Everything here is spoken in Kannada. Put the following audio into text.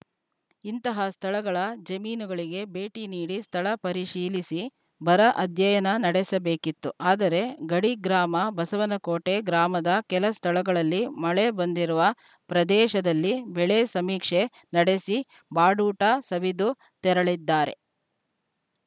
ಇಂತಹ ಸ್ಥಳಗಳ ಜಮೀನುಗಳಿಗೆ ಭೇಟಿ ನೀಡಿ ಸ್ಥಳ ಪರಿಶೀಲಿಸಿ ಬರ ಅಧ್ಯಯನ ನಡೆಸಬೇಕಿತ್ತು ಆದರೆ ಗಡಿ ಗ್ರಾಮ ಬಸವನಕೋಟೆ ಗ್ರಾಮದ ಕೆಲ ಸ್ಥಳಗಳಲ್ಲಿ ಮಳೆ ಬಂದಿರುವ ಪ್ರದೇಶದಲ್ಲಿ ಬೆಳೆ ಸಮೀಕ್ಷೆ ನಡೆಸಿ ಬಾಡೂಟ ಸವಿದು ತೆರಳಿದ್ದಾರೆ